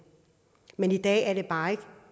men i dag er det bare ikke